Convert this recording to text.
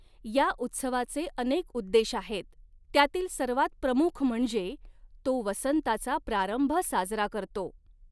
या उत्सवाचे अनेक उद्देश आहेत, त्यातील सर्वांत प्रमुख म्हणजे तो वसंताचा प्रारंभ साजरा करतो.